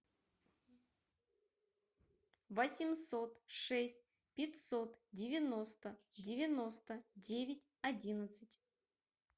восемьсот шесть пятьсот девяносто девяносто девять одиннадцать